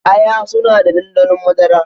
Aya suna da ɗanɗano madara